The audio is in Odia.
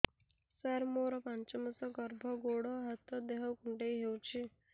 ସାର ମୋର ପାଞ୍ଚ ମାସ ଗର୍ଭ ଗୋଡ ହାତ ଦେହ କୁଣ୍ଡେଇ ହେଉଛି